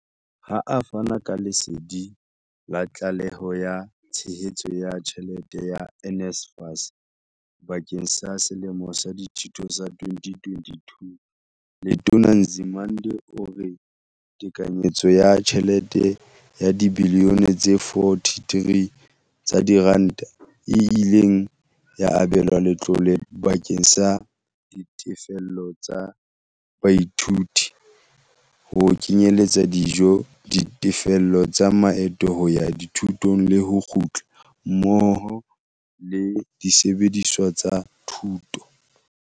Ha a fana ka lesedi la tlaleho ya tshehetso ya tjhelete ya NSFAS bakeng sa selemo sa dithuto sa 2022, Letona Nzimande o re tekanyetso ya tjhelete ya dibiliyone tse 43 tsa diranta e ile ya abelwa letlole bakeng sa ditefello tsa dithuto, ho kenyeletsa dijo, ditefello tsa maeto a hoya dithutong le ho kgutla, mmoho le disebediswa tsa thuto.